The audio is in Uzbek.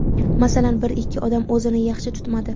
Masalan, bir-ikki odam o‘zini yaxshi tutmadi.